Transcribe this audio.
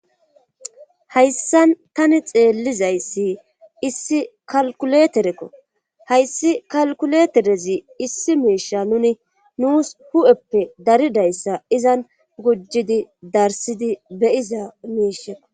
Hayssan tani xeellizayssi issi kalkuleterekko hayssi kalkuleterezi issi miisha nuni nuus hu7eppe daridayssa izan gujjidi darsidi beyiza miishekko